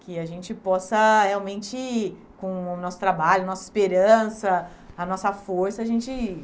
Que a gente possa, realmente, com o nosso trabalho, nossa esperança, a nossa força, a gente